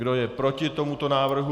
Kdo je proti tomuto návrhu?